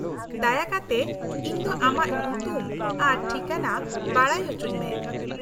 -ᱫᱟᱭᱟ ᱠᱟᱛᱮᱫ ᱤᱧ ᱫᱚ ᱟᱢᱟᱜ ᱧᱩᱛᱩᱢ ᱟᱨ ᱴᱷᱤᱠᱟᱹᱱᱟ ᱵᱟᱰᱟᱭ ᱚᱪᱚᱧ ᱢᱮ ᱾